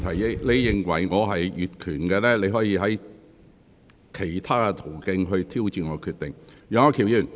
若你認為我越權，你可循其他途徑挑戰我的決定。